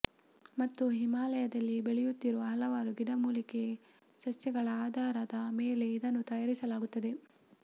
ಮತ್ತು ಹಿಮಾಲಯದಲ್ಲಿ ಬೆಳೆಯುತ್ತಿರುವ ಹಲವಾರು ಗಿಡಮೂಲಿಕೆ ಸಸ್ಯಗಳ ಆಧಾರದ ಮೇಲೆ ಇದನ್ನು ತಯಾರಿಸಲಾಗುತ್ತದೆ